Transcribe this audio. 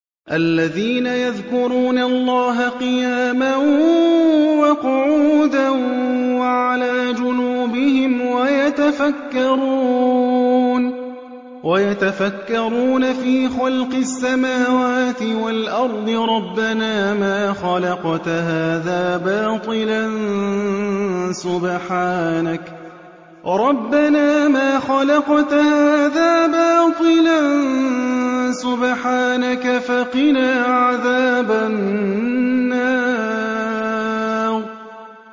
الَّذِينَ يَذْكُرُونَ اللَّهَ قِيَامًا وَقُعُودًا وَعَلَىٰ جُنُوبِهِمْ وَيَتَفَكَّرُونَ فِي خَلْقِ السَّمَاوَاتِ وَالْأَرْضِ رَبَّنَا مَا خَلَقْتَ هَٰذَا بَاطِلًا سُبْحَانَكَ فَقِنَا عَذَابَ النَّارِ